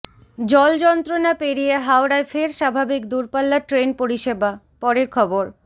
জল যন্ত্রণা পেরিয়ে হাওড়ায় ফের স্বাভাবিক দূরপাল্লার ট্রেন পরিষেবা পরের খবর